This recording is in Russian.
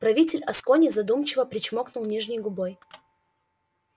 правитель аскони задумчиво причмокнул нижней губой